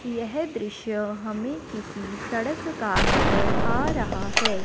यह दृश्य हमें किसी सड़क का नजर आ रहा है।